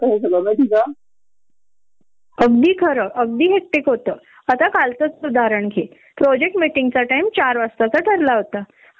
त त्याच्या त दोन दोन तास निरार्थ डीस्कशन करायचं आणि मग आम्हाला निघायाला तिथन नऊ वाजायचे घरी यायला कित्येक मला दहा साडे दहा वाजाले